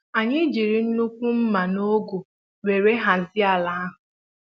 anyị jírí nnukwu mma na ọgụ wéré hazie ala ahụ